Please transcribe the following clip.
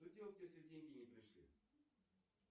что делать если деньги не пришли